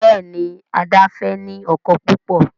Béèni Ada fè ní ọkọ púpọ.